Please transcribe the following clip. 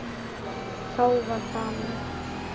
Þá var gaman.